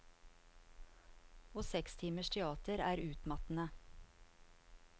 Og seks timers teater er utmattende.